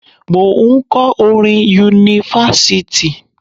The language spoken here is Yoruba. Mò ń kọ́ orin ni Yunifásítì.